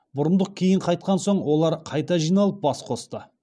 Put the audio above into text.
бұрындық кейін қайтқан соң олар қайта жиналып бас қосты